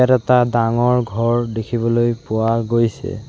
ইয়াত এটা ডাঙৰ ঘৰ দেখিবলৈ পোৱা গৈছে।